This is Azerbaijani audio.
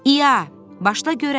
İya, başla görək!